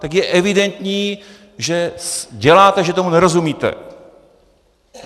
Tak je evidentní, že děláte, že tomu nerozumíte.